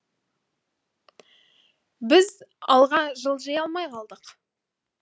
біз алға жылжи алмай қалдық